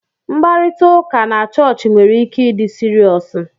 Mkparịta ụka na chọọchị nwere ike ịdi seriousu.